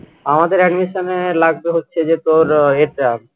আমাদের admission এ লাগবে হচ্ছে যে তোর এটা